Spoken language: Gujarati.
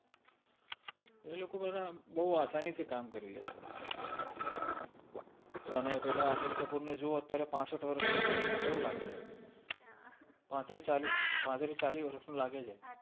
એ લોકો બધા બૌ આસાની થિ કામ કરિ લે છે અને પેલા અનિલ કપૂર ને જોવો અત્ય઼આરે પાસટ વરસ નો છે કેવો લાગે છે પાત્રિ ચાલિ પાત્રિ ચાલિ વર્સ નો લાગે છે